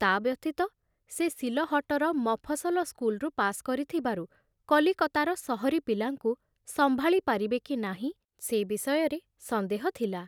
ତା ବ୍ୟତୀତ ସେ ସିଲହଟର ମଫସଲ ସ୍କୁଲରୁ ପାସ କରିଥିବାରୁ କଲିକତାର ସହରୀ ପିଲାଙ୍କୁ ସମ୍ଭାଳି ପାରିବେ କି ନାହିଁ ସେ ବିଷୟରେ ସନ୍ଦେହ ଥିଲା।